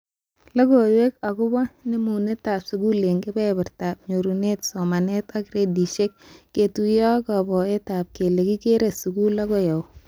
Logoiwek akobo nemunetab skul eng kebebertaab nyorunet somanet ak gradishek ketuyo ak kaboteab kele kikere skul akoi au